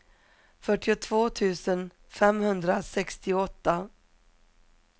fyrtiotvå tusen femhundrasextioåtta